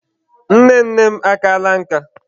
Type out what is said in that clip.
Nne nne m akaala nka.